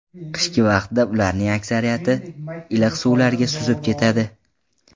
Qishki vaqtda ularning aksariyati iliq suvlarga suzib ketadi.